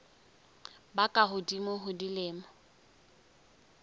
ba ka hodimo ho dilemo